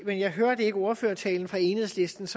men jeg hørte ikke ordførertalen af enhedslistens